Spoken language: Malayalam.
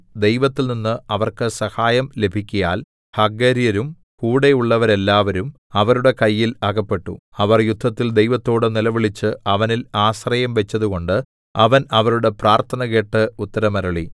ദൈവത്തിൽനിന്ന് അവർക്ക് സഹായം ലഭിക്കയാൽ ഹഗര്യരും കൂടെയുള്ളവരെല്ലാവരും അവരുടെ കയ്യിൽ അകപ്പെട്ടു അവർ യുദ്ധത്തിൽ ദൈവത്തോട് നിലവിളിച്ച് അവനിൽ ആശ്രയം വെച്ചതുകൊണ്ട് അവൻ അവരുടെ പ്രാർത്ഥന കേട്ട് ഉത്തരമരുളി